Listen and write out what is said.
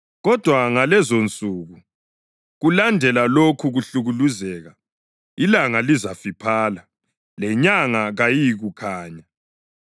Kodwa ngalezonsuku, kulandela lokho kuhlukuluzeka, ‘ilanga lizafiphala, lenyanga kayiyikukhanya;